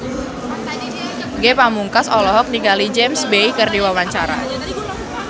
Ge Pamungkas olohok ningali James Bay keur diwawancara